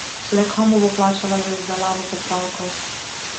Le komu bo plačala za izdelavo popravkov?